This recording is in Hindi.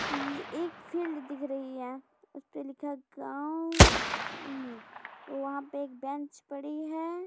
ये एक फिल्ड दिख रही है उसपे लिखा गाँव उ वहाँ पे एक बेंच पड़ी है।